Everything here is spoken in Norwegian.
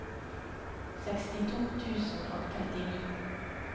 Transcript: sekstito tusen og trettini